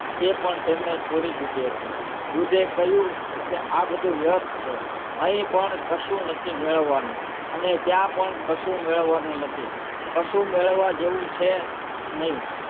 એ પણ તેમને છોડી દીધી હતી બુદ્ધે કહ્યું કે આ બધું વ્યર્થ છે અહીં પણ કશું નથી મેળવવાનું અને ત્યાં પણ કશું મેળવવાનું નથી કશું મેળવવા જેવું છે નહીં,